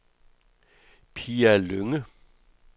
Pia Lynge